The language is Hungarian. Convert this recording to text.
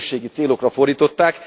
közösségi célokra fordították.